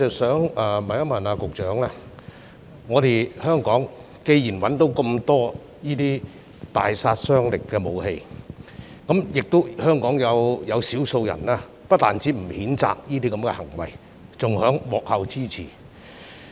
雖然在香港破獲這麼多大殺傷力的武器，但有少數人不單不譴責這些行為，還在幕後給予支持。